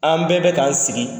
An bɛɛ bɛ k'an sigi